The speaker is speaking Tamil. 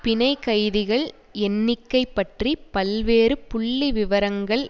பிணைக்கைதிகள் எண்ணிக்கை பற்றி பல்வேறு புள்ளிவிவரங்கள்